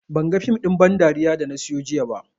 Banga fim ɗin ban dariya da na siyo jiya ba